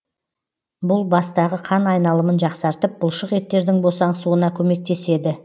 бұл бастағы қан айналымын жақсартып бұлшық еттердің босаңсуына көмектеседі